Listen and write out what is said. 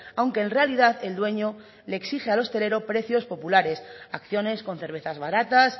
aunque en realidad el dueño le exige al hostelero precios populares acciones con cervezas baratas